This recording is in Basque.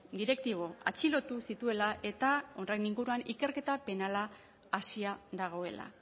direktibo atxilotu zituela eta horren inguruan ikerketa penala hasia dagoela